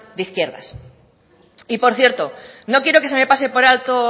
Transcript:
de izquierdas y por cierto no quiero que se me pase por alto